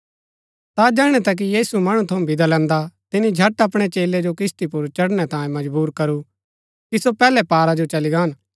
ता जैहणै तक कि यीशु मणु थऊँ विदा लैन्दा तिनी झट अपणै चेलै जो किस्ती पुर चढ़णै तांयें मजबुर करू कि सो पैहलै पारा जो चली गान